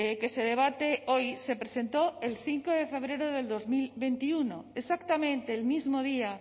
que se debate hoy se presentó el cinco de febrero de dos mil veintiuno exactamente el mismo día